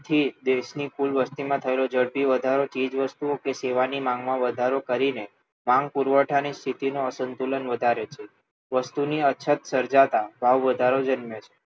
થી દેશની કુલ વસતીમાં થયેલો ઝડપી વધારો ચીજવસ્તુઓ કે સેવાની માંગમાં વધારો કરીને માંગ પુરવઠાની સ્થિતિનું અસંતુલન વધારે છે વસ્તુની અછત સર્જાતાં ભાવવધારો જન્મે છે